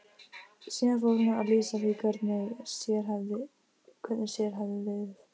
Síðan fór hún að lýsa því hvernig sér hefði liðið.